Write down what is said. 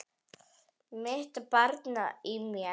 Mitt barn í mér.